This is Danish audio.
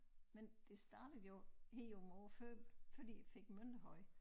Men det startede jo her nogle år før fordi fik Mønterhøj